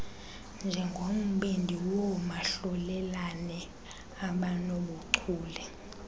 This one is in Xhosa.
njengombindi woomahlulelane abanobuchule